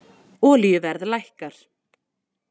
Olíuverð lækkar